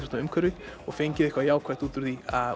rafíþróttaumhverfi og fengið eitthvað jákvætt út úr því